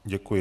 Děkuji.